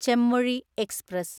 Chemmozhi express